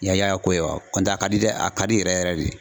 I y'a ka ko ye ko nɔdɛ a ka di dɛ a ka di yɛrɛ yɛrɛ de.